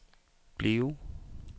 bliv